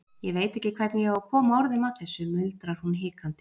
Ég veit ekki hvernig ég á að koma orðum að þessu, muldrar hún hikandi.